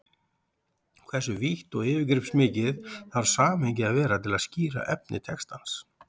Hversu vítt og yfirgripsmikið þarf samhengið að vera til að skýra efni textans?